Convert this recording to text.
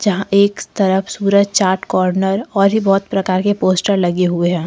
यहां एक तरफ सूरज चाट कॉर्नर और भी बहोत प्रकार के पोस्टर लगे हुए हैं।